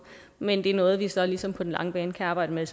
men det er noget vi så ligesom på den lange bane kan arbejde med